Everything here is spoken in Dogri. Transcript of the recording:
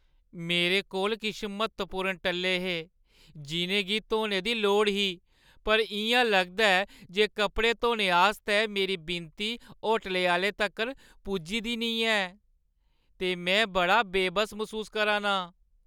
मेरे कोल किश म्हत्तवपूर्ण टल्ले हे जिʼनें गी धोने दी लोड़ ही, पर इ'यां लगदा ऐ जे कपड़े धोने आस्तै मेरी विनती होटलै आह्‌लें तगर पुज्जा दी नेईं ऐ , ते में बड़ा बेबस मसूस करा ना आं।